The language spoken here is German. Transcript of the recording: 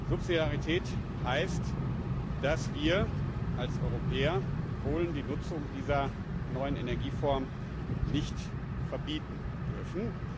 Subsidiarität heißt, dass wir als Europäer Polen die Nutzung dieser neuen Energieform nicht verbieten dürfen.